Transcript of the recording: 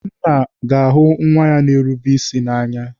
Nna na-ahụ nwa ya ga-erube isi n'anya.